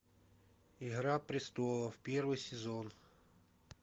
игра престолов первый сезон